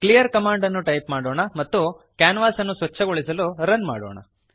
clear command ಅನ್ನು type ಮಾಡೋಣ ಮತ್ತು ಕ್ಯಾನ್ವಾಸನ್ನು ಸ್ವಚ್ಛಗೊಳಿಸಲು ರನ್ ಮಾಡೋಣ